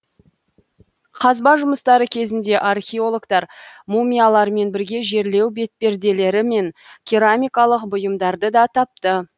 қазба жұмыстары кезінде археологтар мумиялармен бірге жерлеу бетперделері мен керамикалық бұйымдарды да тапты